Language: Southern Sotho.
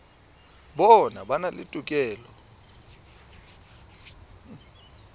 bona ba na le tokelo